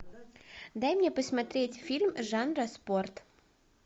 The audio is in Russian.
дай мне посмотреть фильм жанра спорт